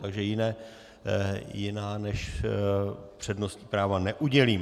Takže jiná než přednostní práva neudělím.